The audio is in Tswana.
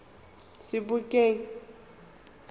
sebokeng